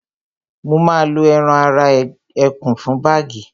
wọ́n ma lo ẹran ara ẹkùn fún bágì